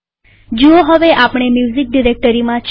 જુઓ હવે આપણે મ્યુઝીક ડિરેક્ટરીમાં છીએ